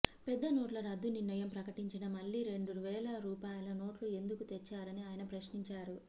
పెద్ద నోట్ల రద్దునిర్ణయం ప్రకటించిన మళ్లీ రెండువేల రూపాయల నోట్లు ఎందుకు తెచ్చారని ఆయన ప్రశ్నించారు